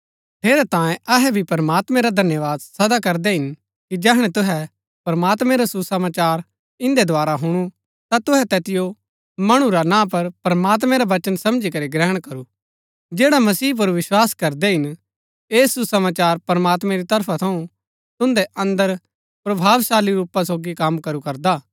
ठेरैतांये अहै भी प्रमात्मैं रा धन्यवाद सदा करदै हिन कि जैहणै तुहै प्रमात्मैं रा सुसमाचार इन्दै द्धारा हुणु ता तुहै तैतिओ मणु रा ना पर प्रमात्मैं रा वचन समझी करी ग्रहण करू जैड़ा मसीह पुर विस्वास करदै हिन ऐह सुसमाचार प्रमात्मैं री तरफा थऊँ तुन्दै अन्दर प्रभावशाली रूपा सोगी कम करू करदा हा